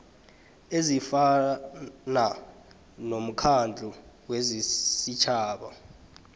ezifana nomkhandlu wesitjhaba